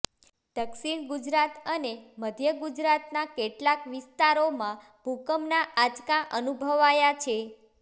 દક્ષિણ ગુજરાત અને મધ્ય ગુજરાતના કેટલાક વિસ્તારોમાં ભૂકંપના આંચકા અનુભવાયા છે